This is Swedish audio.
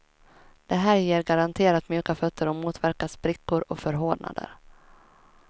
Det här ger garanterat mjuka fötter och motverkar sprickor och förhårdnader.